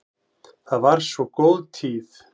Það var svo góð tíð.